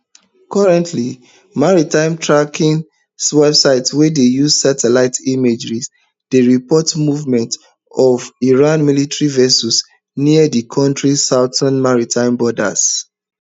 currently maritime tracking websites wey dey use satellite imagery dey report movements of iran military vessels near di kontri southern maritime borders